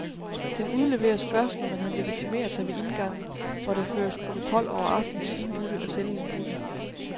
Den udleveres først, når man har legitimeret sig ved indgangen, hvor der føres protokol over aftenens indbudte og selvindbudte.